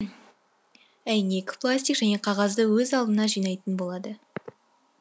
әйнек пластик және қағазды өз алдына жинайтын болады